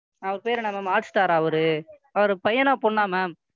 அவரு பேரு என்ன Ma'am hotstar ஆ அவரு அவரு பையனா பொண்ணா? Ma'am,